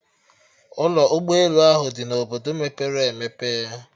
Ụlọ ụgbọ elu ahụ adị na Obodo mepere emepe?